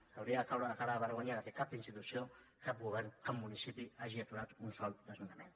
els hauria de caure la cara de vergonya que cap institució cap govern cap municipi hagi aturat un sol desnonament